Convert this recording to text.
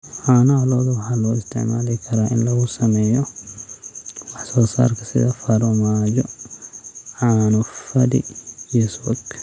Caanaha lo'da waxaa loo isticmaali karaa in lagu sameeyo wax soo saarka sida farmaajo, caano fadhi, iyo subag.